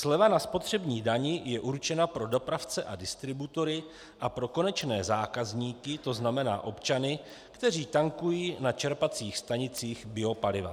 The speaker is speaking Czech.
Sleva na spotřební dani je určena pro dopravce a distributory a pro konečné zákazníky, to znamená občany, kteří tankují na čerpacích stanicích biopaliva.